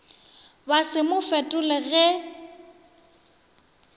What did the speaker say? ba se mo fetole ge